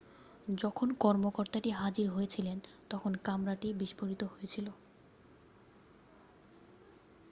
যখন কর্মকতাটি হাজির হয়েছিলেন তখন কামরাটি বিস্ফোরিত হয়েছিল